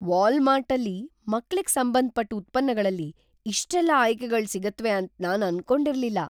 ವಾಲ್ಮಾರ್ಟಲ್ಲಿ ಮಕ್ಳಿಗ್‌ ಸಂಬಂಧಪಟ್ ಉತ್ಪನ್ನಗಳಲ್ಲಿ ಇಷ್ಟೆಲ್ಲ ಆಯ್ಕೆಗಳ್ ಸಿಗುತ್ವೆ ಅಂತ ನಾನ್ ಅನ್ಕೊಂಡಿರ್ಲಿಲ್ಲ.